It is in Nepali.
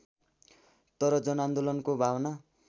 तर जनआन्दोलनको भावना